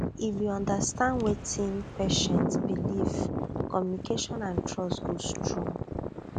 if you understand wetin patient believe communication and trust go strong